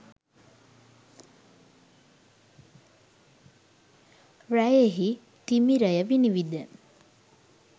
රැයෙහි තිමිරය විනිවිද